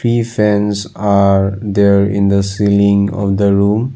Three fans are there in the ceiling of the room.